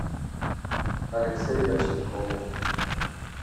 алексей кочетков